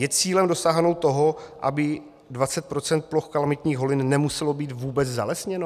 Je cílem dosáhnout toho, aby 20 % ploch kalamitních holin nemuselo být vůbec zalesněno?